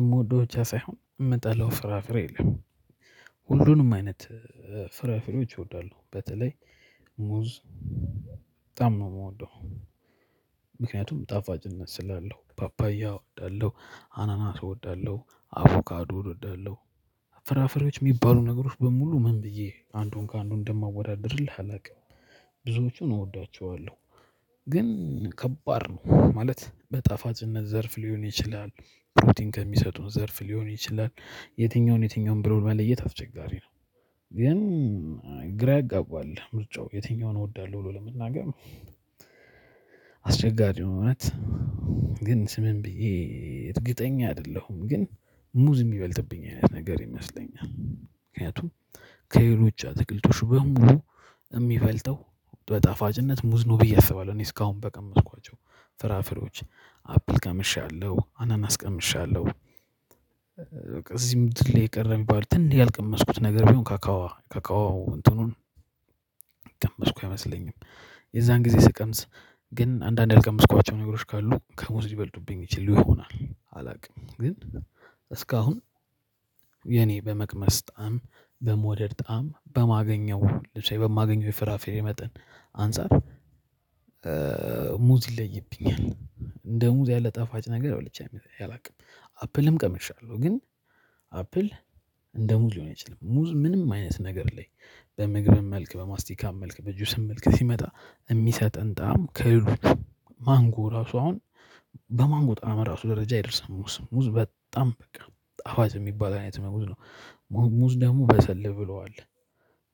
እምወደው ብቻ ሳይሆን እምጠላው ፍራፍሬ የለም ሁሉንም አይነት ፍራፍሬዎች እወዳለሁ። በተለይ ሙዝ በጣም ነው እምወደው። ምክንያቱም ጣፋጭነት ስላለው ፓፓያ እወዳለሁ አናና ሰው እወዳለሁ አቮካዶ እወዳለሁ። ፍራፍሬዎች እሚባሉ ነገሮች በሙሉ ምን ብዬ አንዱን ከአንዱ እንደማወዳድርልህ አላውቅም። ብዙዎቹን እወዳቸዋለሁ። ግን ከባድ ነው ማለት በጣፋጭነት ዘርፍ ሊሆን ይችላል ፕሮቲን ከሚሰጡን ዘርፍ ሊሆን ይችላል የትኛውን የትኛውን ብሎ መለየት አስቸጋሪ ነው። ግን ግራ ያጋባል ምርጫው የትኛውን እወዳለሁ ብሎ ለመናገር አስቸጋሪ እውነት ግን ዝም ብዬ እርግድኛ አይደለሁም። ግን ሙዝ የሚበልጥብኝ አይነት ነገር ይመስለኛል። ምክንያቱም ከሌሎች አትክልቶች በሙሉ እሚበልጠው በጣፋጭነት ሙዝ ነው ብዬ አስባለሁ። እኔ እስካሁን በቀመስኳቸው ፍራፍሬዎች አፕል ቀምሻለሁ አናናስ ቀምሻለሁ። በቃ እዚህ ምድር ላይ የቀረ እሚባል ያልቀመስኩት ነገር ቢሆን ካካዋ ካካዋው እንትኑን የቀመስኩ አይመስለኝም። የዛን ጊዜ ስቀምስ ግን አንዳንድ ያልቀመስኳቸው ነገሮች ካሉ ከሙዝ ሊበልጡብኝ ይችል ይሆናል አላውቅም። ግን እስካሁን የኔ በመቅመስ ጣዕም በመውደድ ጣዕም በማገኘው ለምሳሌ በማገኘው የፍራፍሬ መጠን አንፃር ሙዝ ይለይብኛል። እንደ ሙዝ ያለ ጣፋጭ ነገር በልቸ አላውቅም። አፕልም ቀምሻለሁ ግን አፕል እንደ ሙዝ ሊሆን ይችላል ሙዝ ምንም አይነት ነገር ላይ በምግብም መልክ በማስቲካም መልክ በጁስም መልክ ሲመጣ። እሚሰጠን ጣዕም ከሌሎች ማንጎ ራሱ አሁን በማንጎ ጣዕም ራሱ ደረጃ ይደርሳል። ሙዝ ሙዝ በጣም በቃ ጣፋጭ የሚባል አይነት መዝ ነው። ሙዝ ደግሞ በሰል ብሏል።